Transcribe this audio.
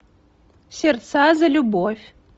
сердца за любовь